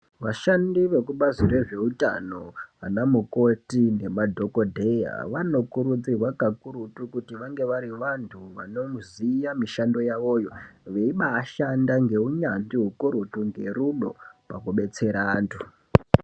Vashandi vekubazi rezveutano, anamukoti nemadhokodheya, vanokurudzirwa kakurutu kuti vange vari vantu vanoziya mishando yavoyo, veibaashanda ngeunyanzvi ukurutu , ngerudo pakubetsera antu.